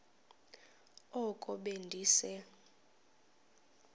oko be ndise